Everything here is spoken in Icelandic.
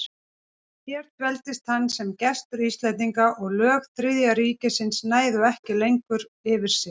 Hér dveldist hann sem gestur Íslendinga, og lög Þriðja ríkisins næðu ekki lengur yfir sig.